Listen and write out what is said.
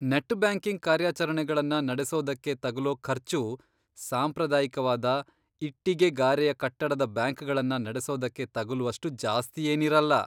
Net banking ಕಾರ್ಯಾಚರಣೆಗಳನ್ನ ನಡೆಸೋದಕ್ಕೆ ತಗುಲೋ ಖರ್ಚು ಸಾಂಪ್ರದಾಯಿಕವಾದ, ಇಟ್ಟಿಗೆ ಗಾರೆಯ ಕಟ್ಟಡದ ಬ್ಯಾಂಕ್ಗಳನ್ನ ನಡೆಸೋದಕ್ಕೆ ತಗುಲುವಷ್ಟು ಜಾಸ್ತಿಯೇನಿರಲ್ಲ.